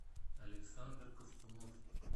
александр ковтунов